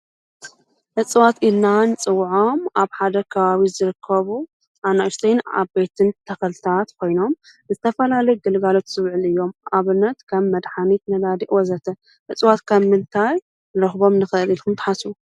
እፅዋት ኢልና ን ጽዉዖም ኣብ ሓደ ካዋዊ ዘርከቡ ኣናእሽተይን ኣብ ቤትን ተኸልታት ኮይኖም ንዝተፋልለይ ግልጋሎት ሥብዕል እዮም ኣብርነት ካብ መድኃኒት ነላዲእ ወዘተ ዕጽዋት ካብ ምልታይ ረኽቦም ንኸል ኢል ኽምትሓሱ?